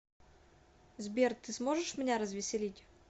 сбер ты сможешь меня развеселить